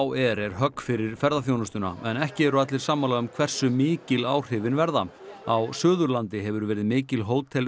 er högg fyrir ferðaþjónustuna en ekki eru allir sammála um hversu mikil áhrifin verða á Suðurlandi hefur verið mikil